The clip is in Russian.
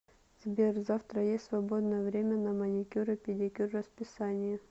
сбер завтра есть свободное время на маникюр и педикюр в расписании